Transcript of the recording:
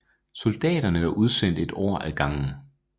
Soldaterne var udsendt ét år ad gangen